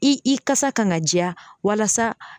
I i kasa kan ga jɛya walasa